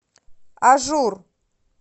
ажур